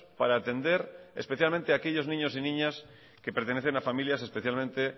para atender especialmente a aquellos niños y niñas que pertenecen a familias especialmente